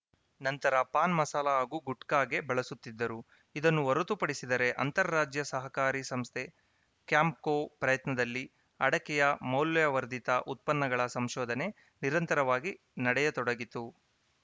ನಂತರ ಪಾನ್‌ ಮಸಾಲ ಹಾಗೂ ಗುಟ್ಕಾಗೆ ಬಳಸುತ್ತಿದ್ದರು ಇದನ್ನು ಹೊರತುಪಡಿಸಿದರೆ ಅಂತಾರಾಜ್ಯ ಸಹಕಾರಿ ಸಂಸ್ಥೆ ಕ್ಯಾಂಪ್ಕೋ ಪ್ರಯತ್ನದಲ್ಲಿ ಅಡಕೆಯ ಮೌಲ್ಯವರ್ಧಿತ ಉತ್ಪನ್ನಗಳ ಸಂಶೋಧನೆ ನಿರಂತರವಾಗಿ ನಡೆಯತೊಡಗಿತು